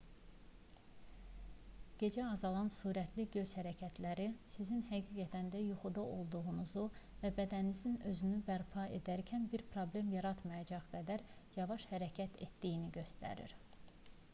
gecə azalan sürətli göz hərəkətləri sizin həqiqətən də yuxuda olduğunuzu və bədəniniz özünü bərpa edərkən bir problem yaratmayacaq qədər yavaş hərəkət etdiyini göstərir